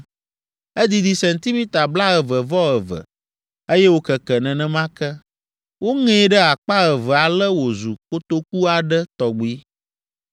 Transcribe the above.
Edidi sentimita blaeve-vɔ-eve, eye wòkeke nenema ke. Woŋee ɖe akpa eve ale wòzu kotoku aɖe tɔgbi.